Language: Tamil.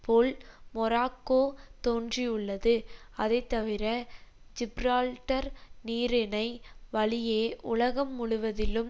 போல் மொராக்கோ தோன்றியுள்ளது அதை தவிர ஜிப்ரால்டர் நீரிணை வழியே உலகம் முழுவதிலும்